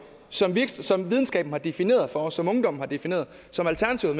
som som videnskaben har defineret for os som ungdommen har defineret som alternativet